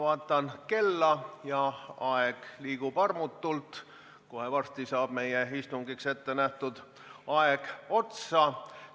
Ma vaatan kella – aeg liigub armutult, kohe varsti saab meie istungiks ette nähtud aeg otsa.